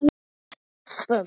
Keyrir upp völlinn og skorar.